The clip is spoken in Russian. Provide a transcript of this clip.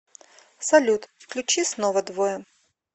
салют включи снова двое